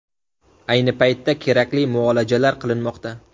Ayni paytda kerakli muolajalar qilinmoqda.